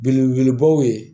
Belebelebaw ye